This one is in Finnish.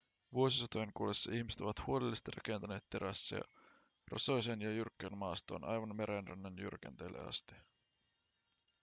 vuosisatojen kuluessa ihmiset ovat huolellisesti rakentaneet terasseja rosoiseen ja jyrkkään maastoon aivan merenrannan jyrkänteille asti